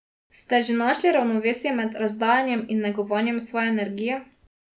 Ste že našli ravnovesje med razdajanjem in negovanjem svoje energije?